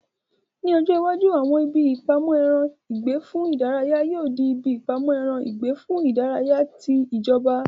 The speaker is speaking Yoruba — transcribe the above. Ni ọjọ́ iwájú, àwọn ibi ìpamọ́ ẹran ìgbẹ́ fún ìdárayá yóò di ibi ìpamọ́ ẹran ìgbẹ́ fún ìdárayá ti ìjọba